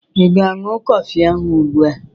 Ị ga-aṅụ kọfị ahụ ugbu a?